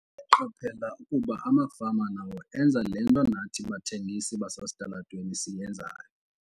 "Ndaqaphela ukuba amafama nawo enza le nto nathi bathengisi basesitalatweni siyenzayo."